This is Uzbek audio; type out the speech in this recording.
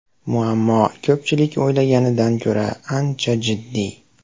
Muammo ko‘pchilik o‘ylaganidan ko‘ra ancha jiddiy.